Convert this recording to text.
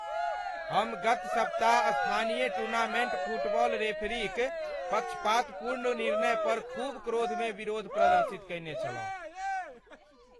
हम गत सप्ताह स्थानीय टूर्नामेन्टमे फुटबॉल रेफरीक पक्षपातपूर्ण निर्णय पर खूब क्रोध मे विरोध प्रदर्शित कयने छलहुँ।